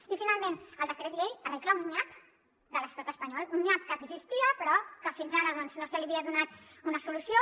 i finalment el decret llei arregla un nyap de l’estat espanyol un nyap que existia però que fins ara no se li havia donat una solució